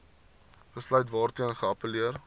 besluit waarteen geappelleer